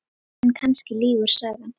En kannski lýgur sagan.